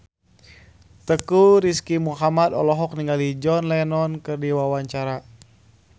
Teuku Rizky Muhammad olohok ningali John Lennon keur diwawancara